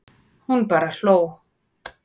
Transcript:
Hún bara hló.